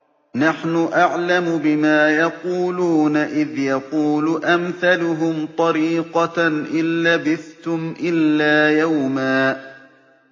نَّحْنُ أَعْلَمُ بِمَا يَقُولُونَ إِذْ يَقُولُ أَمْثَلُهُمْ طَرِيقَةً إِن لَّبِثْتُمْ إِلَّا يَوْمًا